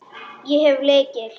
Ég hef lykil.